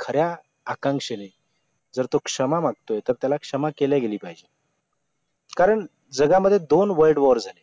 खऱ्या आकांक्षेने जर तो क्षमा मागतोय तर त्याला क्षमा केले गेली पाहिजे कारण जगामध्ये दोन world war झाले